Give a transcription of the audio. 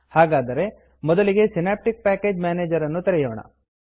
ಹಾಗಾದರೆ ಮೊದಲಿಗೆ synaptic package manager ಅನ್ನು ತೆರೆಯೋಣ